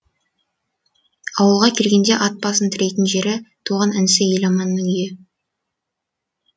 ауылға келгенде ат басын тірейтін жері туған інісі еламанның үйі